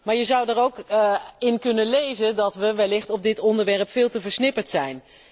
Maar je zou er ook in kunnen lezen dat we wellicht over dit onderwerp veel te versnipperd zijn.